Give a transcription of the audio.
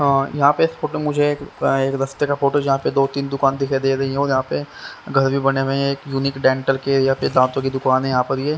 अं यहां पे इस फोटो मुझे एक अ एक रास्ते का फोटो जहां पर दो तीन दुकान दिखाई दे रही हों यहां पे घर भी बने हुए हैं एक यूनिक डेंटल के या फिर दांतों की दुकान है यहां पर ये--